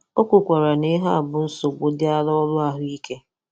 O kwukwara na ihe a bụ nsogbụ dịara ọrụ ahụike.